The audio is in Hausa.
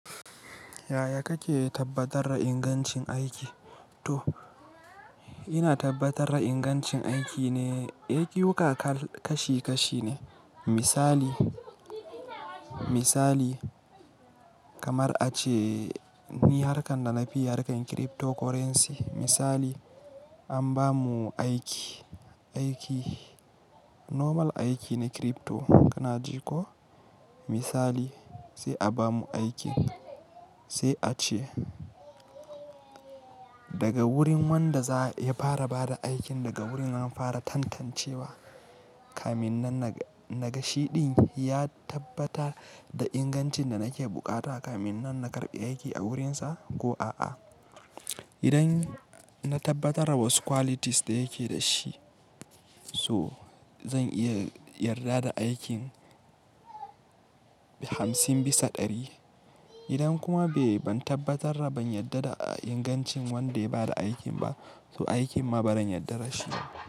Yaya kake tabbatar da ingancin aiki? To ina tabbatar da ingancin aiki ne, awukaka kashi kashi ne. Misali, misali kamar a ce ni harkan da na fi yi harkan cryptocurrency. Misali an ba mu aiki, aiki normal aiki ne crypto kana ji ko misali sai a ba mu aikin sai a ce daga wurin wanda za ya fara bada aikin daga wurin an fara tantancewa. Kaminnan na-na gashi din ya tabbata da ingancin da nake bukata kaminnan na karɓi aiki a wurinsa ko a'a. Idan na tabbatar wasu qualities da yake dashi so zan iya yarda da aikin hamsin bisa ɗari. Idan kuma bai, ban tabbatar da ban yarda da ingancin wanda ya bada aikin ba, to aikin ma bazan yarda da shi ba.